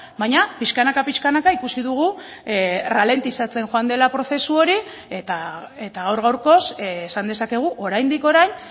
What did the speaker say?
baina pixkanaka pixkanaka ikusi dugu ralentizatzen joan dela prozesu hori eta gaur gaurkoz esan dezakegu oraindik orain